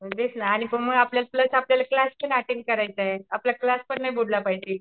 तेच ना आणि पण म आपल्याला कलासपण अटेंड करायचाय. आपला कलासपण नाही बुडाला पाहिजे.